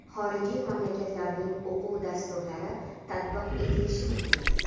xorijiy mamlakatlarning o‘quv dasturlari tatbiq etilishi mumkin;.